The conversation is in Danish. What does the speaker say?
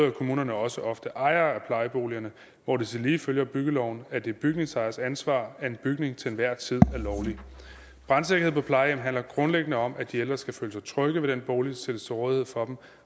er kommunerne også ofte ejere af plejeboligerne hvor det tillige følger byggeloven at det er bygningsejers ansvar at en bygning til enhver tid er lovlig brandsikkerhed på plejehjem handler grundlæggende om at de ældre skal føle sig trygge ved den bolig der stilles til rådighed for dem